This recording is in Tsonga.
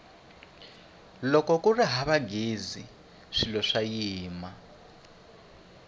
loko kuri hava ghezi swilo swa yima